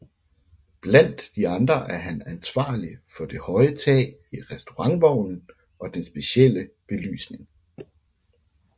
Blandt andre er han ansvarlig for det høje tag i restaurantvognen og den specielle belysning